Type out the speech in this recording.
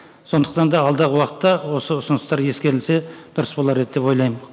сондықтан да алдағы уақытта осы ұсыныстар ескерілсе дұрыс болар еді деп ойлаймын